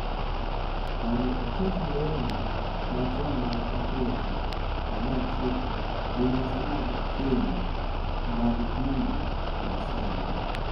mondo oket lewni machon mag Afrika kanyachiel gi nyasi mag keny mag dini ma sani.